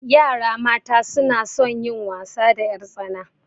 Yara mata suna son wasa da ƴartsana.